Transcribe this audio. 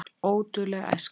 Ódul er æskan.